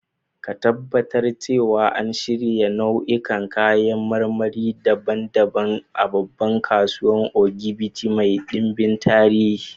Ka Tabbatar cewa an shirya nau'ikan kayan marmari daban-daban a babbar kasuwar Ogbete mai dimbin tarihi